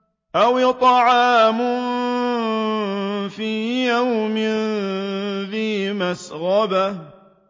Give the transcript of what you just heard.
أَوْ إِطْعَامٌ فِي يَوْمٍ ذِي مَسْغَبَةٍ